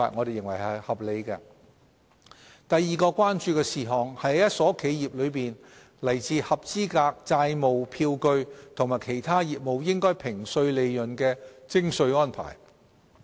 第二項是關注到同一家企業中來自合資格債務票據和其他業務應評稅利潤的徵稅安排。